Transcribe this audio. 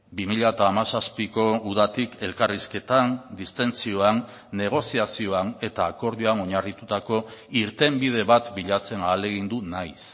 bi mila hamazazpiko udatik elkarrizketan distentsioan negoziazioan eta akordioan oinarritutako irtenbide bat bilatzen ahalegindu naiz